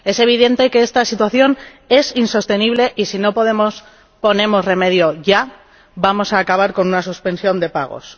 Es evidente que esta situación es insostenible y, si no ponemos remedio ya, vamos a acabar con una suspensión de pagos.